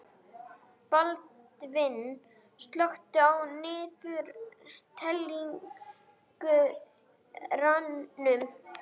Baldvin, slökktu á niðurteljaranum.